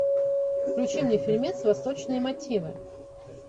включи мне фильмец восточные мотивы